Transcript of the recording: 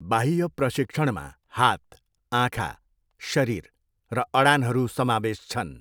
बाह्य प्रशिक्षणमा हात, आँखा, शरीर र अडानहरू समावेश छन्।